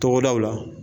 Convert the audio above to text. Tɔgɔdaw la